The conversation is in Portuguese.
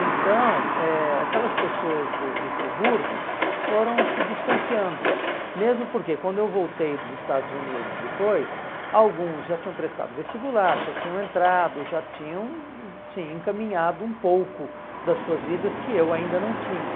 Então, eh aquelas pessoas do do Friburgo foram se distanciando, mesmo porque quando eu voltei dos Estados Unidos depois, alguns já tinham prestado vestibular, já tinham entrado, já tinham se encaminhado um pouco das suas vidas que eu ainda não tinha.